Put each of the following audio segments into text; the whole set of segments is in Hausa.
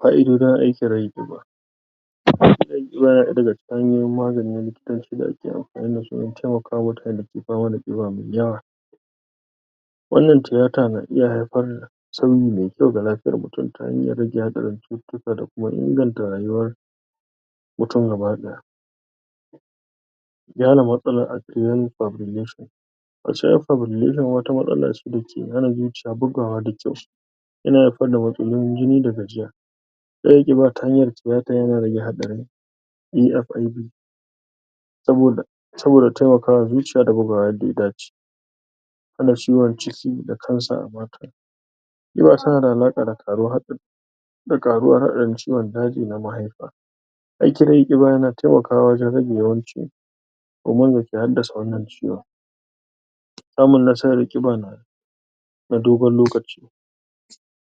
Fa'idojin aikin rage ƙiba. Rage ƙiba yana ɗaya daga cikin hanyoyin magani na likatanci da ake amfani da su wajen taimaka wa mutane da ke fama da ƙiba mai yawa. Wannan tiyata na iya haifar da sauyi mai kyau ga lafiyar mutum, ta hanyar rage hatsarin cututtuka da kuma inganta rayuwar mutum gaba ɗaya. Wata matsala ce da ke hana zuciya bugawa da kyau. Yana haifar da matsalolin jini da gajiya. Rage ƙiba ta hanyar tiyata yana rage haɗarin Saboda, Saboda taimaka wa zuciya da bugawa yadda ya dace. Hana ciwon ciki da "Cancer" Ƙiba tana da alaƙa da ƙaruwar haɗarin da ƙaruwar haɗarin ciwon daji na mahaifa. Aikin rage ƙiba yana taimakawa wajen rage yawancin me ke haddasa wannan ciwon? Samun nasarar ƙiba na na dogon lokaci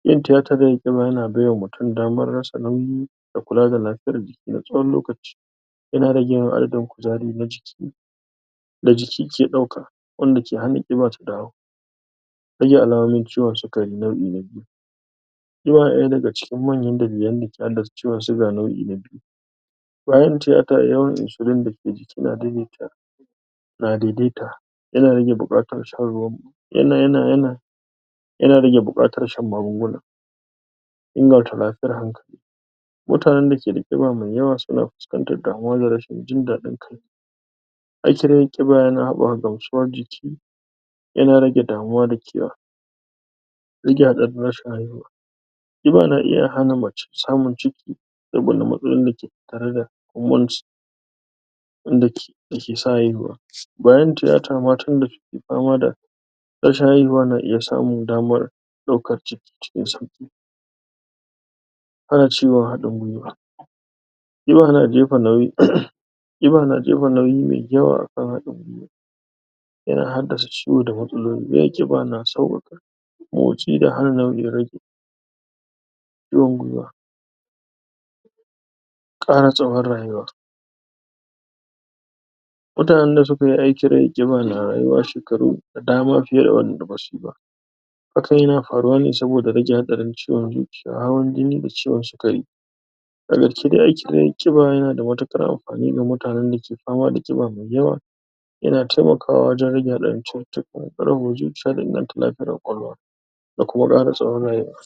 Yin titar rage ƙiba yana bai wa mutum damar rasa nauyi, da kula da lafiyar jiki na tsawon lokaci. Yana rage adadin kuzari na jiki, da jiki ke ɗauka. wanda ke hana ƙiba ta dawo. Raga alamomin ciwon sikari nau'i na biyu. Yana ɗaya daga ciki manyan dalilan da ke haddasa ciwon siga nau'i na biyu. Yayin tiyata, yawan "insolin" dake jiki na daidaita. na daidaita. yana rage buƙatun shan ruwan mu yana rage buƙatar shan magunguna. Mutanen da ke da ƙiba mai yawa suna fuskantar damuwa da rashin jin daɗi. Aikin rage ƙiba ya haɓɓaka gamsuwar jiki, yana rage damuwa da Rage hatsarin rashin haihuwa Ƙiba na iya hana mace samun ciki, wanda ke yake sa haihuwa. Bayan tiyata, matan da ke fama da rashin haihuwa na iya samun damar ɗaukar ciki, cikin sauƙi. Hana ciwon haɗin guiwa. Ƙiba na jefa nauyi mai yawa a kan yana haddasa ciwo da matsaloli, yawan ƙiba na sa Ƙara tsawon rayuwa. Mutanen da suka yi aikin rage ƙiba na rayuwa shekaru da dama fiye da waɗanda ba su yi ba. Hakan yana faruwa ne saboda rage haɗarin ciwon zuciya, hawan jini da ciwon sikari. Da gaske dai aikin rage ƙiba yana da matuƙar amfani da mutanen da ke fama da ƙiba mai yawa, yana taimakawa wajen rage haɗarin ciwon zuciya, da inganta lafiyar ƙwaƙwalwa. Da kuma ƙara tsawon rayuwa.